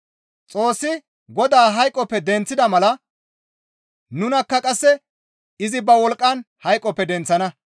Xoossi Godaa hayqoppe denththida mala nunakka qasse izi ba wolqqan hayqoppe denththana.